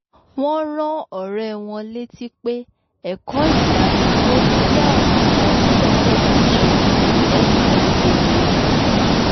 wọ́n rán ọ̀rẹ́ wọn létí pé ẹ̀kọ́ ìdádúró jẹ́ ọ̀nà kan téèyàn lè gbà ṣè àtìlẹ́yìn fún ẹnì kejì rẹ̀